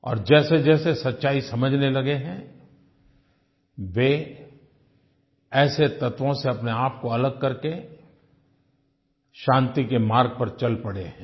और जैसेजैसे सच्चाई समझने लगे हैं वे ऐसे तत्वों से अपनेआप को अलग करके शांति के मार्ग पर चल पड़े हैं